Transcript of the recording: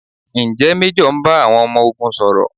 Ǹjẹ́ Méjọ̀ ń bá àwọn ọmọ ogun sọ̀rọ̀?